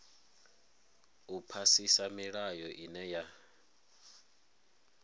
u phasisa milayo ine ya